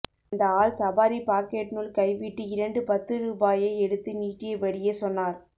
அந்த ஆள் சபாரி பாக்கெட்னுள் கைவிட்டு இரண்டு பத்து ரூபாயை எடுத்து நீட்டியபடியே சொன்னார்